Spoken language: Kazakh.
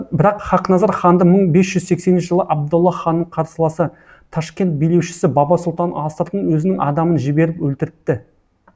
бірақ хақназар ханды мың бес жүз сексенінші жылы абдолла ханның қарсыласы ташкент билеушісі баба сұлтан астыртын өзінің адамын жіберіп өлтіртті